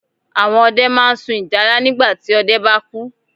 Àwọn ọdẹ máa n sun ìjálá nígbàti ọdẹ bá kú